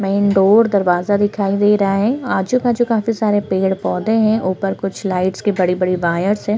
Main door दरवाजा दिखाई दे रहा है आजू -बाजू काफी सारे पेड़- पौधे है ऊपर कुछ लाइट्स के बड़े -बड़े वायर्स हैं।